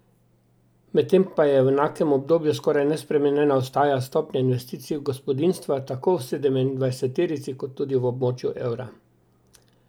Medtem pa v enakem obdobju skoraj nespremenjena ostaja stopnja investicij gospodinjstva, tako v sedemindvajseterici kot tudi v območju evra.